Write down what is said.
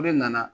Ne nana